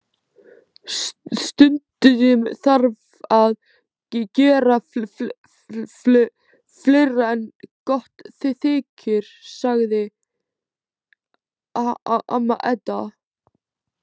Stundum þarf að gera fleira en gott þykir, sagði amma Edda.